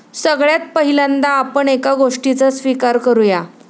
सगळ्यात पहिल्यांदा आपण एका गोष्टीचा स्वीकार करू या.